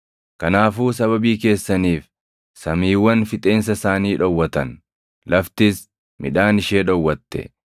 Kanaafuu sababii keessaniif samiiwwan fixeensa isaanii dhowwatan; laftis midhaan ishee dhowwatte.